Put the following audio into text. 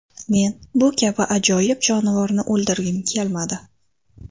Men bu kabi ajoyib jonivorni o‘ldirgim kelmadi.